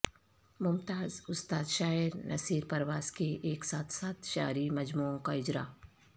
ممتاز استاد شاعر نصیر پرواز کے ایک ساتھ سات شعری مجموعوں کا اجرا